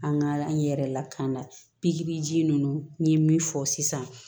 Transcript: An ka n yɛrɛ lakana pikiriji ninnu n ye min fɔ sisan